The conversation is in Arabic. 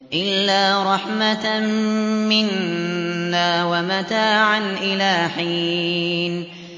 إِلَّا رَحْمَةً مِّنَّا وَمَتَاعًا إِلَىٰ حِينٍ